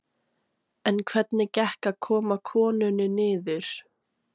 En hvernig gekk að koma konunni niður?